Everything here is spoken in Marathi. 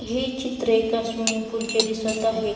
हे चित्रे एका स्विमिंग पुल चे दिसत आहे.